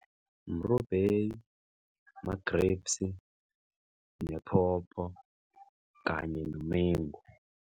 Mrubheyi, ma-grapes, nephopho kanye nomengu.